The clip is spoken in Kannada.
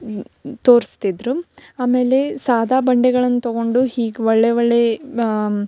ಈ ತೋರಿಸ್ತಿದ್ರು ಆಮೇಲೆ ಸದಾ ಬಂಡೆಯನ್ನು ತಗೊಂಡು ಹೀಗೆ ಒಳ್ಳೆ ಒಳ್ಳೆ --